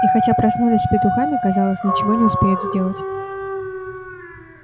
и хотя проснулись с петухами казалось ничего не успеют сделать